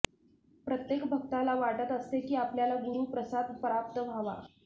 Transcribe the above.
प्रत्येक भक्ताला वाटत असते की आपल्याला गुरु प्रसाद प्राप्त व्हावा